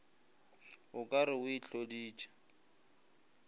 o ka re o itloditše